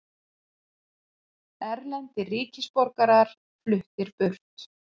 Erlendir ríkisborgarar fluttir burt